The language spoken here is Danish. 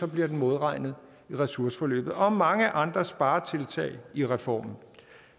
bliver den modregnet i ressourceforløbet og mange andre sparetiltag i reformen